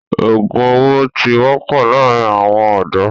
òògùn owó ti wọ́pọ̀ láàrin àwọn ọ̀dọ́.